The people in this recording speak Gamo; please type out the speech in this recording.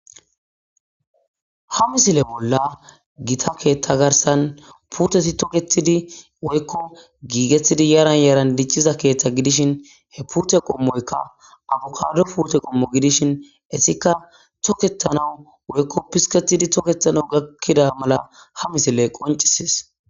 Ha misile bolla gita keeththa garsan purteti toketidi woykko giigethidi yaran yaran dicciza keeththa gidishin he purte qommoyka afukado purte qommo gidishin essika toketanawu woykko pisketidi toketana gakkida mala ha misile qoncisis.